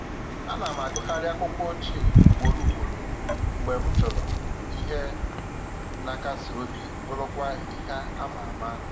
Ana m agụgharị akwụkwọ ochie ugboro ugboro mgbe m chọrọ ihe na akasi obi bụrụkwa ihe ama ama